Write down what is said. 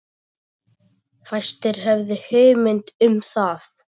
Fæstir höfðu hugmynd um það.